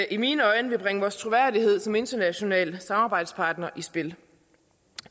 i mine øjne vil bringe vores troværdighed som international samarbejdspartner i spil